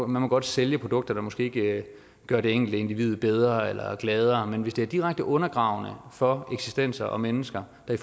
må godt sælge produkter der måske ikke gør det enkelte individ bedre eller gladere men hvis det er direkte undergravende for eksistenser mennesker der